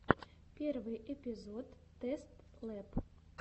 первый эпизод тэст лэб